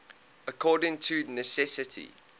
according to necessity